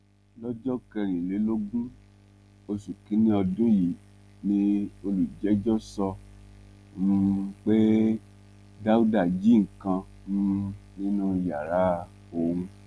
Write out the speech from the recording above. lọjọ kẹrìnlélógún oṣù kìnínní ọdún yìí ni olùjẹjọ sọ um pé dáúdà jí nǹkan um nínú yàrá òun